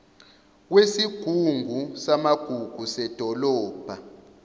kwesigungu samagugu sedolobha